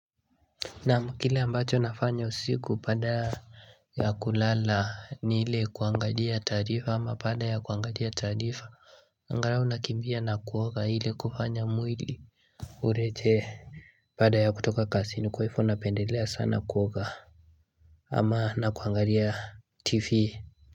Naam kile ambacho nafanya usiku pada ya kulala ni hile kuangadia tarifa ama pada ya kuangalia tarifa Angalau unakimbia na kuoga hile kufanya mwili Urete Pada ya kutoka kasini kwaivo unapendelea sana kuoga ama na kuangalia tv.